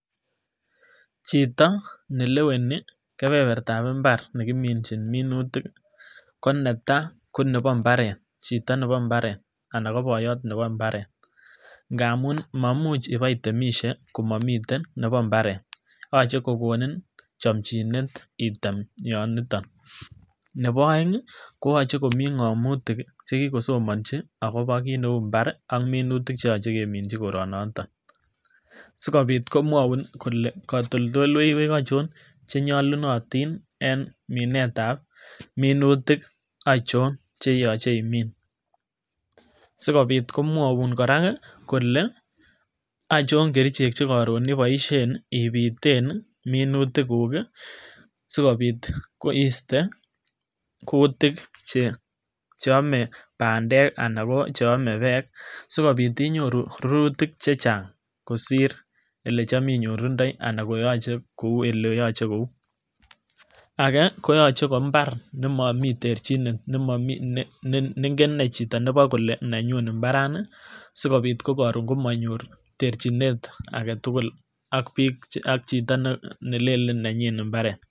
Chito nelewenii kebebertab imbar nekiminjin minutik ko netai ko nebo mbaret chito nebo imbaret anan ko boyot nebo imbaret ingamun momuch iboitemishe komomiten nebo imbaret yoche kokonin chomchinet item yon niton. Nebo oeng ko yoche komii ngomotik kii chekikosomohi akobo kit neu imbar ak kit neyoche kemichi koronoton, skopit komwoun kole kotoltoiwek ochon chenyolunotin en minet ab minutik ochon cheyoche imin sikopit komwoun koraa kii kole ochon kerichek chekorun iboishen ipiten minutik kuu kii sikobit iste kutik cheome pandek anan ko che ome peek sikobit inyoruu rurutik chechang kosir ile chom inyorundoi anan koyoche kou ole yoche kou. Age koyoche koimbar nemomii terjinet, nemomii nengen ine chito nebo kole nenyun imbarani sikobit komonyor terchinet agetukuk ak chito nelelen nenyin imbaret.